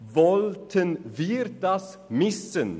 Wollten wir das missen?